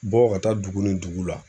Bɔ ka taa dugu ni dugu la